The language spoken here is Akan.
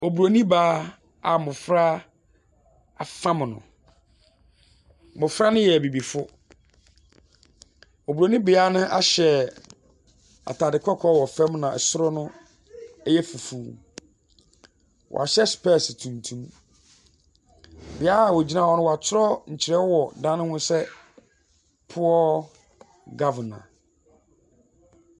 Obroni baa a mmɔfra afam no. mmɔfra no yɛ abibifo. Obroni baa no ahyɛ ataade kɔkɔɔ wɔ fam ɛna ɛsoro no ɛyɛ fufu. Wahyɛ spɛs tuntum. Bia wɔ gyina hɔ no watwerɛ ntwerɔyɛ wɔ dan no ho sɛɛ poor governor.